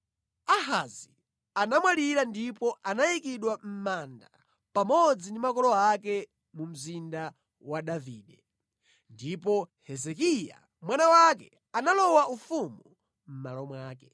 Ahazi anamwalira ndipo anayikidwa mʼmanda pamodzi ndi makolo ake mu Mzinda wa Davide. Ndipo Hezekiya mwana wake analowa ufumu mʼmalo mwake.